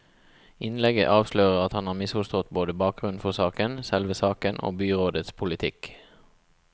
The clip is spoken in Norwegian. Innlegget avslører at han har misforstått både bakgrunnen for saken, selve saken og byrådets politikk.